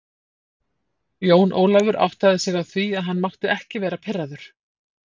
Jón Ólafur áttaði sig á því að hann mátti ekki vera pirraður.